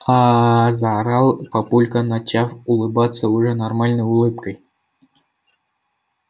аа заорал папулька начав улыбаться уже нормальной улыбкой